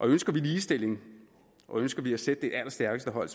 ønsker vi ligestilling og ønsker vi at sætte det allerstærkeste hold